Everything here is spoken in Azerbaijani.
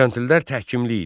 Kəntlilər təhkimi idi.